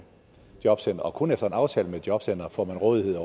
jobcenteret og kun efter en aftale med jobcenteret får rådighed